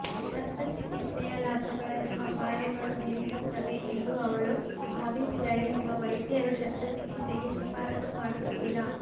ಶಸ್ತ್ರಚಿಕಿತ್ಸೆಯ ಲಾಭಗಳನ್ನು ಅಪಾಯಗಳು ಮೀರಿಸುತ್ತವೆ ಎಂದು ಅವಳು ಭಾವಿಸಿದರೆ ನಿಮ್ಮ ವೈದ್ಯರು ಶಸ್ತ್ರಚಿಕಿತ್ಸೆಗೆ ಶಿಫಾರಸು ಮಾಡುತ್ತಿಲ್ಲ